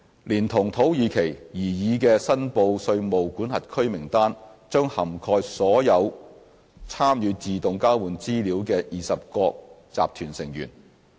連同土耳其，擬議的申報稅務管轄區名單將涵蓋所有參與自動交換資料的20國集團成員。